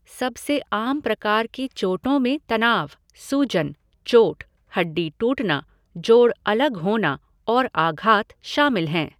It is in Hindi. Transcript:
सबसे आम प्रकार की चोटों में तनाव, सूजन, चोट, हड्डी टूटना, जोड़ अलग होना और आघात शामिल हैं।